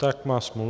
Tak má smůlu.